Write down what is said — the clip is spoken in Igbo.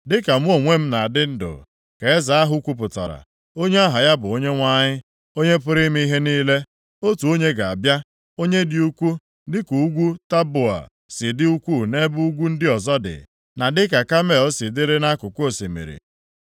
“Dịka mụ onwe m na-adị ndụ,” ka Eze ahụ kwupụtara, onye aha ya bụ Onyenwe anyị, Onye pụrụ ime ihe niile, “otu onye ga-abịa, onye dị ukwuu dịka ugwu Taboa si dị ukwuu nʼebe ugwu ndị ọzọ dị, na dịka Kamel si dịrị nʼakụkụ osimiri.